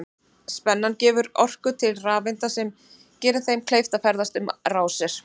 Spennan gefur orku til rafeinda sem gerir þeim kleift að ferðast um rásir.